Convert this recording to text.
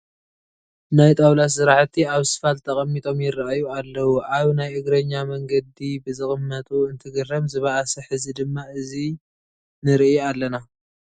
ናይ ጣውላ ስራሕቲ ኣብ ስፋልት ተቐሚጦም ይርአዩ ኣለዉ፡፡ ኣብ ናይ እግረኛ መንገዲ ብዝቕመጡ እንትግረም ዝበኣሰ ሕዚ ድማ እዚ ንርኢ ኣለና፡፡